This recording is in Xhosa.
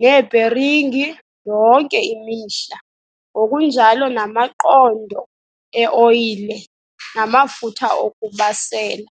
neebheringi yonke imihla ngokunjalo namaqondo e-oyile namafutha okubasela.